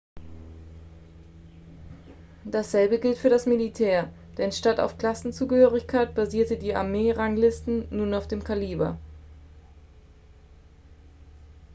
dasselbe gilt für das militär denn statt auf klassenzugehörigkeit basierten die armee-ranglisten nun auf dem kaliber